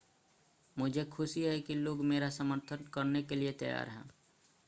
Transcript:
मुझे खुशी है कि लोग मेरा समर्थन करने के लिए तैयार हैं